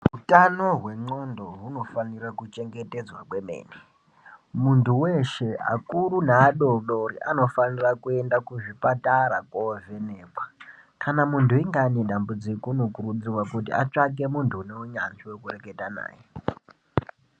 Utano wengqondo hunofa ira kuchengetedzwa kwemene mundu weshee akuru neadoodori anofa ire kuenda kuzvipatara kovhenekwa kana mundu ainge ane dambudziko unokurudzirwa kuti atsvake mundu une hunyanzvi wokureketa naye.